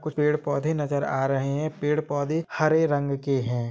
कुछ पेड़-पौधे नज़र आ रहे है पेड़-पौधे हरे रंग के है।